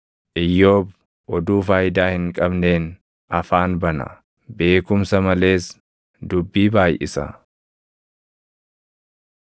Iyyoob oduu faayidaa hin qabneen afaan bana; beekumsa malees dubbii baayʼisa.”